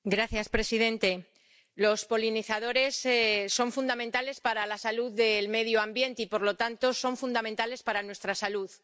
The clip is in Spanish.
Señor presidente, los polinizadores son fundamentales para la salud del medio ambiente y, por lo tanto, son fundamentales para nuestra salud.